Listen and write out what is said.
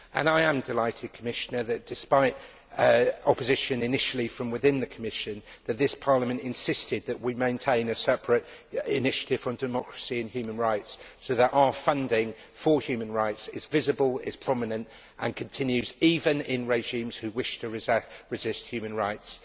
I am delighted, Commissioner, that, despite opposition initially from within the Commission, this Parliament insisted that we maintain a separate initiative on democracy and human rights, so that our funding for human rights is visible, is prominent and continues even in countries with regimes that wish to resist human rights.